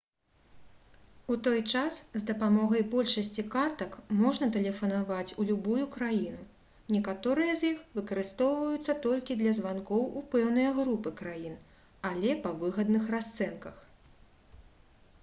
у той час з дапамогай большасці картак можна тэлефанаваць у любую краіну некаторыя з іх выкарыстоўваюцца толькі для званкоў у пэўныя групы краін але па выгадных расцэнках